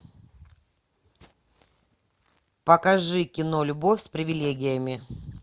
покажи кино любовь с привилегиями